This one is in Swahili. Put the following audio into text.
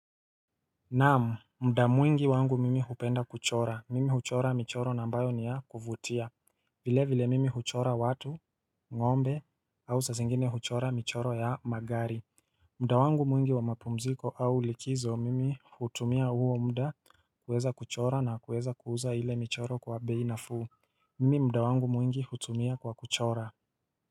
Naam, mda mwingi wangu mimi hupenda kuchora, mimi huchora michoro na ambayo niya kuvutia vile vile mimi huchora watu, ngombe, au saa zingine huchora michoro ya magari mda wangu mwingi wa mapumziko au likizo mimi hutumia huo mda kuweza kuchora na kuweza kuuza hile michoro kwa bei nafuu Mimi mda wangu mwingi hutumia kwa kuchora.